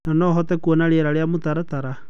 No nohote kwona riera na mũtaratara.